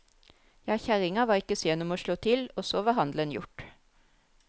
Ja, kjerringa var ikke sen om å slå til, og så var handelen gjort.